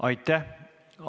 Aitäh!